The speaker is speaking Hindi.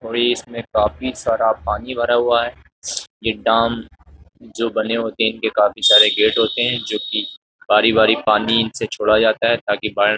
और ये इसमें काफी सारा पानी भरा हुआ है ये दाम जो बने होते हैं इनके काफी सारे गेट होते हैं जोकि बारी-बारी पानी इनसे छोड़ा जाता है ताकि बाढ़ --